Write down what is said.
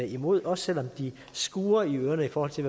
imod også selv om de skurrer i ørerne i forhold til